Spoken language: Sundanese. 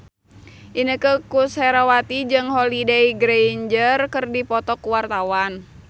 Inneke Koesherawati jeung Holliday Grainger keur dipoto ku wartawan